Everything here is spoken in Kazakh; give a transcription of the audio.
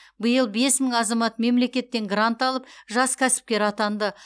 биыл бес мың азамат мемлекеттен грант алып жас кәсіпкер атанды